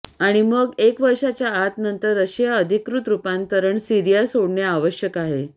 आणि मग एक वर्षाच्या आत नंतर रशिया अधिकृत रूपांतरण सीरिया सोडणे आवश्यक आहे